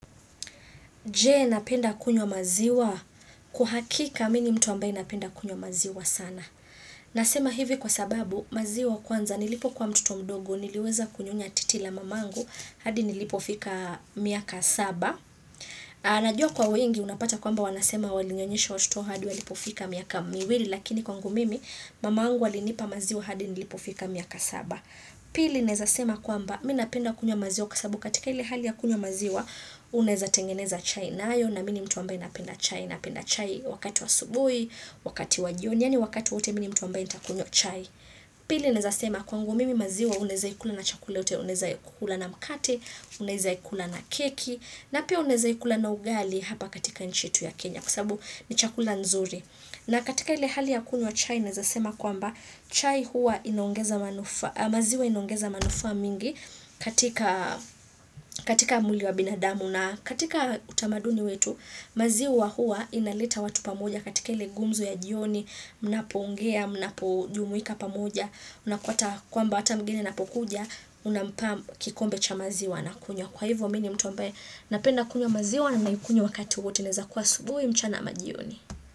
Je napenda kunywa maziwa? Kwa hakika mimi ni mtu ambaye napenda kunywa maziwa sana. Nasema hivi kwa sababu maziwa kwanza nilipokuwa mtoto mdogo niliweza kunyonya titi la mamangu hadi nilipofika miaka saba. Najua kwa wengi unapata kwamba wanasema walinyonyesha watoto wao hadi walipofika miaka miwili lakini kwangu mimi mamangu alinipa maziwa hadi nilipofika miaka saba. Pili naweza sema kwamba mimi napenda kunywa maziwa kwa sababu katika ile hali ya kunywa maziwa Unaweza tengeneza chai nayo na mimi ni mtu ambaye napenda chai Napenda chai wakati wa asubuhi, wakati wa jioni Yaani wakati wowote mimi ni mtu ambaye nitakunywa chai Pili naweza sema kwangu mimi maziwa unaweza ikula na chakula yoyote Unaweza ikula na mkate, unaweza ikula na keki na pia unaweza ikula na ugali hapa katika nchi yetu ya Kenya Kwa sababu ni chakula nzuri na katika ile hali ya kunywa chai naweza sema kwamba chai huwa inaongeza manufaa maziwa inogeza manufaa mingi katika katika mwili wa binadamu na katika utamaduni wetu maziwa huwa inaleta watu pamoja katika ile gumzo ya jioni Mnapoongea, mnapojumuika pamoja Unapata kwamba hata mgeni napokuja, unampa mkikombe cha maziwa anakunywa Kwa hivyo mimi ni mtu ambeye napenda kunywa maziwa na naikunywa wakati wowote inaweza kuwa asubuhi mchana ama jioni.